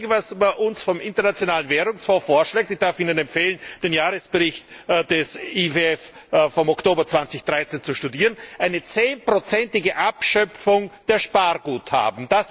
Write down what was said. Das Einzige, was man uns vom Internationalen Währungsfonds vorschlägt ich darf Ihnen empfehlen, den Jahresbericht des IWF vom Oktober 2013 zu studieren eine 10 ige Abschöpfung der Sparguthaben!